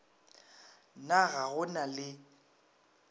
na ga go na le